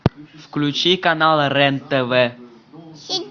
включи канал рен тв